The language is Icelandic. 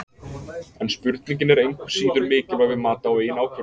En spurningin er engu síður mikilvæg við mat á eigin ákvörðunum.